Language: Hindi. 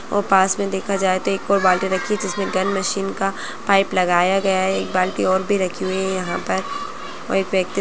और पास मे देखा जाए तो एक और बाल्टी रखी जिसमे गन मशीन का पाइप लगाया गया है एक बाल्टी और भी रखी गई है यहाँ पर--